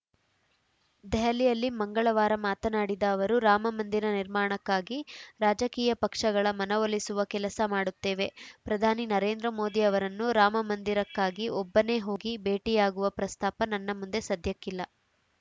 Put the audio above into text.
ದೆಹಲಿಯಲ್ಲಿ ಮಂಗಳವಾರ ಮಾತನಾಡಿದ ಅವರು ರಾಮಮಂದಿರ ನಿರ್ಮಾಣಕ್ಕಾಗಿ ರಾಜಕೀಯ ಪಕ್ಷಗಳ ಮನವೊಲಿಸುವ ಕೆಲಸ ಮಾಡುತ್ತೇವೆ ಪ್ರಧಾನಿ ನರೇಂದ್ರ ಮೋದಿ ಅವರನ್ನು ರಾಮಮಂದಿರಕ್ಕಾಗಿ ಒಬ್ಬನೇ ಹೋಗಿ ಭೇಟಿಯಾಗುವ ಪ್ರಸ್ತಾಪ ನನ್ನ ಮುಂದೆ ಸದ್ಯಕ್ಕಿಲ್ಲ